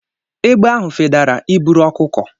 Egbe ahụ fedara i buru ọkụkọ.